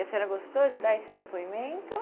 E a senhora gostou de dar esse depoimento?